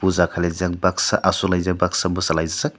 ja khalaijak baksa asuklaijak baksa bwsa laijak.